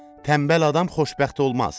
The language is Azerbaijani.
Tənbəl adam xoşbəxt olmaz.